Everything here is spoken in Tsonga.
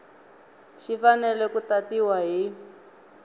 xi fanele ku tatiwa hi